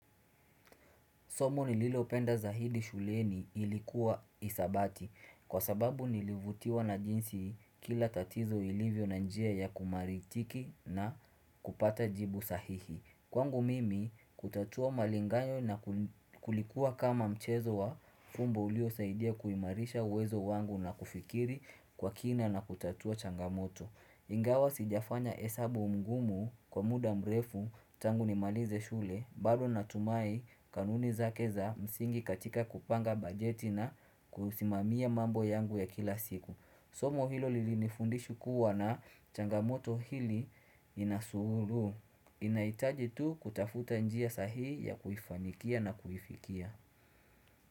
Somo nililopenda zaidi shuleni ilikuwa hisabati kwa sababu nilivutiwa na jinsi kila tatizo lilivyo na njia ya kumaritiki na kupata jibu sahihi. Kwangu mimi kutatua malingaayo na kulikuwa kama mchezo wa fumbo ulio saidia kuimarisha uwezo wangu na kufikiri kwa kina na kutatua changamoto. Ingawa sijafanya hesabu mgumu kwa muda mrefu tangu nimalize shule, bado natumai kanuni za keza msingi katika kupanga bajeti na kusimamia mambo yangu ya kila siku. Somo hilo lilinifundisha kuwa na changamoto hili inasuru. Inahitaji tu kutafuta njia sahihi ya kufanikia na kufikia.